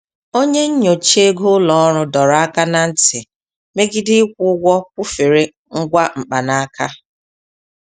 Onye nnyocha ego ụlọ ọrụ dọrọ aka na ntị megide ịkwụ ụgwọ kwụfere ngwa mkpanaka.